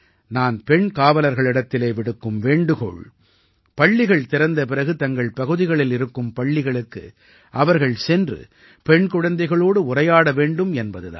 நான் பெண் காவலர்களிடத்திலே விடுக்கும் வேண்டுகோள் பள்ளிகள் திறந்த பிறகு தங்களின் பகுதிகளில் இருக்கும் பள்ளிகளுக்கு அவர்கள் சென்று பெண் குழந்தைகளோடு உரையாட வேண்டும் என்பது தான்